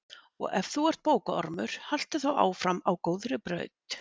Og ef þú ert bókaormur, haltu þá áfram á góðri braut.